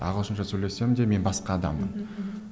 ағылшынша сөйлесем де мен басқа адаммын мхм мхм